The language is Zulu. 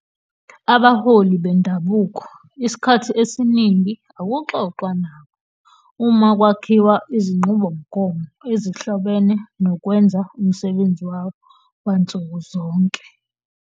"Abaholi bendabuko isikhathi esiningi akuxoxwa nabo uma kwakhiwa izinqubomgomo ezihlobene nokwenza umsebenzi wabo wansuku zonke.